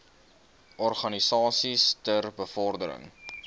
organisasies ter bevordering